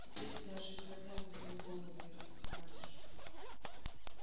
теперь даже граблями твою голову не разлохматишь